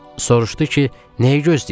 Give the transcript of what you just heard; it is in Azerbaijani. Soruşdu ki, nəyi gözləyirsən?